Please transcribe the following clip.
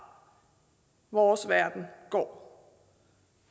vores verden går